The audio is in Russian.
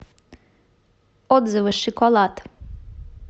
отзывы шиколад